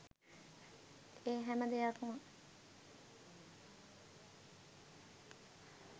ඒ හැම දෙයක්ම